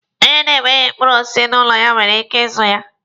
Onye na-enweghi mkpụrụ osisi n'ụlọ ya nwere ike ịzụ ya.